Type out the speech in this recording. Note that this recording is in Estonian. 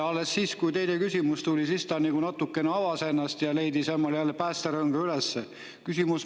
Alles siis, kui teine küsimus tuli, ta natukene avas ennast ja leidis jälle oma päästerõnga üles.